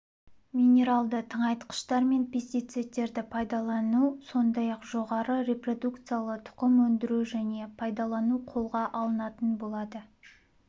минералды тыңайтқыштар мен пестицидтерді пайдалану сондай-ақ жоғары репродукциялы тұқым өндіру және пайдалану қолға алынатын болады